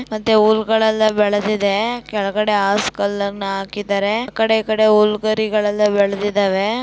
ಮತ್ತೆ ಹುಲ್ಲುಗಳೆಲ್ಲ ಬೆಳದಿದೆ ಕೆಳಗಡೆ ಹಾಸ್ ಕಲ್ಲನ್ನು ಹಾಕಿದರೆ ಆಕಡೆ ಈಕಡೆ ಹುಲ್ಲು ಗರಿಗಲ್ಲೆಲ್ಲ ಬೆಳದಿದಾವೆ.